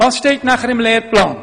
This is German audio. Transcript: Was steht danach im Lehrplan?